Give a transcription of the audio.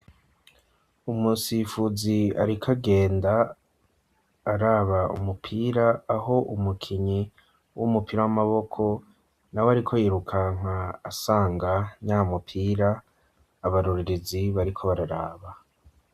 Umusifuzi ariko agenda araba umupira aho umukinyi w'umupira w'amaboko nawe ari ko yirukanga asanga nyamupira abarorerezi bariko bararaba.